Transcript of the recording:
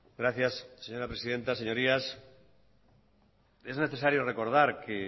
gracias señora presidenta señorías es necesario recordar que